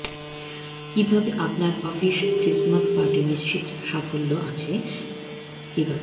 কিভাবে আপনার office Christmas party নিশ্চিত সাফল্য আছে কিভাবে